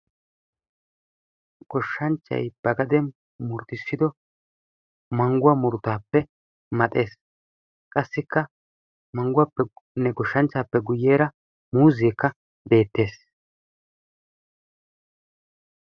Goshshanchchay ba gaden murutissido manguwa murutaappe maxees. Qassikka manguwappenne goshshanchchaape guyyeera muuzeekka beettes.